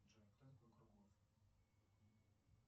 джой кто такой круглов